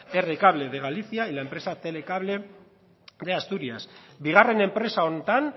r cable de galicia y la empresa telecable de asturias bigarren enpresa honetan